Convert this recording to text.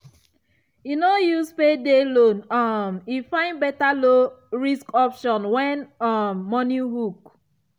e no use payday loan um e find better low-risk option when um money hook.